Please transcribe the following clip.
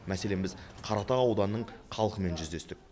мәселен біз қаратау ауданының қалқымен жүздестік